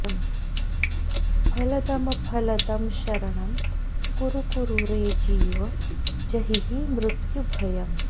फलदमफलदं शरणं कुरु कुरु रे जीव जहिहि मृत्युभयम्